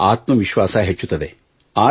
ಅವರ ಆತ್ಮ ವಿಶ್ವಾಸ ಹೆಚ್ಚುತ್ತದೆ